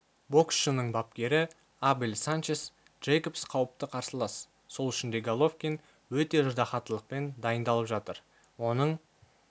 боксшының бапкері абель санчес джейкобс қауіпті қарсылас сол үшін де головкин өте ыждахаттылықпен дайындалып жатыр оның